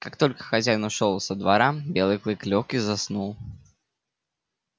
как только хозяин ушёл со двора белый клык лёг и заснул